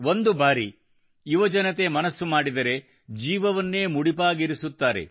ಒಂದು ಬಾರಿ ಯುವಜನತೆ ಮನಸ್ಸು ಮಾಡಿದರೆ ಜೀವವನ್ನೇ ಮುಡಿಪಾಗಿರಿಸುತ್ತಾರೆ